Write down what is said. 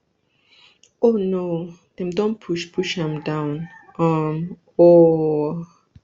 oh no dem don push push am down um ooooo